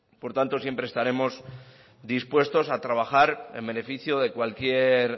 por tanto siempre estaremos dispuestos a trabajar en beneficio de cualquier